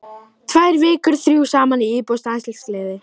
Tvær vikur, þrjú saman í íbúð, stanslaus gleði.